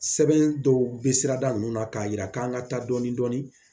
Sɛbɛn dɔw bɛ sira da ninnu na k'a jira k'an ka taa dɔɔnin dɔɔnin